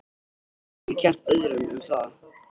Hún getur ekki kennt öðrum um það.